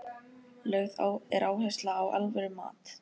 Lögð er áhersla á alvöru mat.